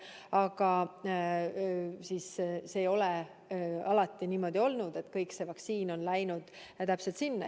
Aga see ei ole alati niimoodi olnud, et kõik vaktsiin on läinud täpselt sinna.